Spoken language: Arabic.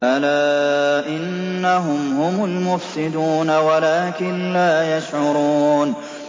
أَلَا إِنَّهُمْ هُمُ الْمُفْسِدُونَ وَلَٰكِن لَّا يَشْعُرُونَ